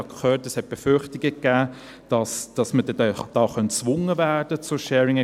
Ich habe gehört, es gebe Befürchtungen, dass man dann hier zur Sharing Economy gezwungen werden könnte.